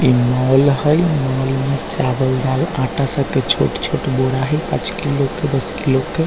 ई mall हई mall में चावल दाल आटा सब के छोट-छोट बोरा हई पांच किलो के दस किलो के।